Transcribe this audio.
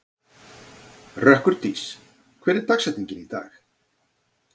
Rökkurdís, hver er dagsetningin í dag?